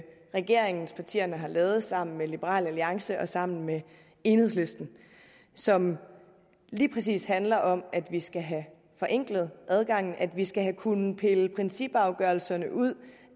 regeringspartierne har lavet sammen med liberal alliance og sammen med enhedslisten som lige præcis handler om at vi skal have forenklet adgangen at vi skal kunne pille principafgørelserne ud